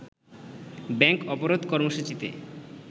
bank অবরোধ কর্মসূচিতে